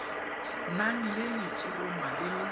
nang le letshoroma le le